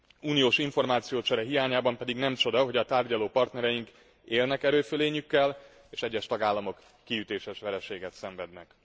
Uniós információcsere hiányában pedig nem csoda, hogy tárgyaló partnereink élnek erőfölényükkel, és egyes tagállamok kiütéses vereséget szenvednek.